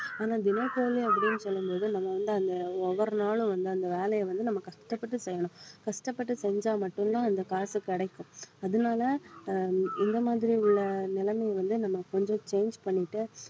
ஆனா தினக்கூலி அப்படின்னு சொல்லும் போது நம்ம வந்து அந்த ஒவ்வொரு நாளும் வந்து அந்த வேலையை வந்து நம்ம கஷ்டப்பட்டு செய்யணும் கஷ்டப்பட்டு செஞ்சா மட்டும்தான் இந்த காசு கிடைக்கும் அதனால அஹ் இந்த மாதிரி உள்ள நிலைமையை வந்து நம்ம கொஞ்சம் change பண்ணிட்டு